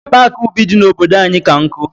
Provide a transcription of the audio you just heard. Paaki ubi dị n'obodo anyị ka nkụ.